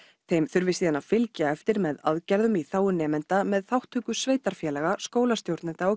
þeim þarf síðan að fylgja eftir með aðgerðum í þágu nemenda með þátttöku sveitarfélaga skólastjórnenda og